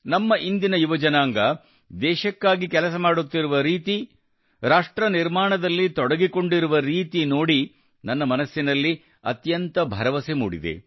ನಮ್ಮ ಇಂದಿನ ಯುವಜನಾಂಗ ದೇಶಕ್ಕಾಗಿ ಕೆಲಸ ಮಾಡುತ್ತಿರುವ ರೀತಿ ರಾಷ್ಟ್ರ ನಿರ್ಮಾಣದಲ್ಲಿ ತೊಡಗಿಕೊಂಡಿರುವ ರೀತಿ ನೋಡಿ ನನ್ನ ಮನಸ್ಸಿನಲ್ಲಿ ಅತ್ಯಂತ ಭರವಸೆ ಮೂಡಿದೆ